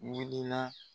Wulila